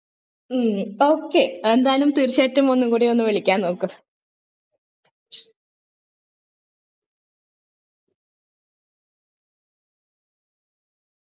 ഹും okay എന്തായാലും തീർച്ചയായിട്ടും ഒന്നുകൂടി ഒന്ന് വിളിക്കാം നോക്ക്